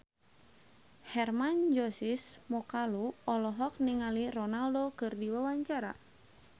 Hermann Josis Mokalu olohok ningali Ronaldo keur diwawancara